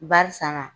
Barisa na